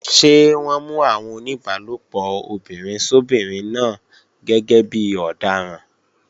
Ṣé wọ́n mú àwọn oníbálòpọ̀ obìnrin sóbinrin náà gẹ́gẹ́ bí ọ̀daràn?